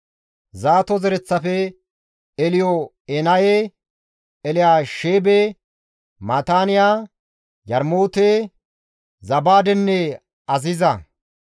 Zaato zereththafe, Elyo7enaye, Elyaasheebe, Maataaniya, Yarmoote, Zabaadenne Aziza;